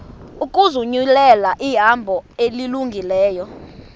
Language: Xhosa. ukuzinyulela ihambo elungileyo